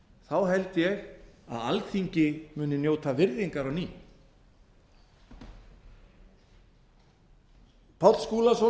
þá held ég að alþingi muni njóta virðingar á ný páll skúlason